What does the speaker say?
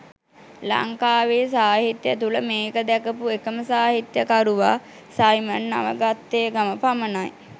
ලංකාවේ සාහිත්‍යය තුල මේක දැකපු එකම සාහිත්‍යකරුවා සයිමන් නවගත්තේගම පමණයි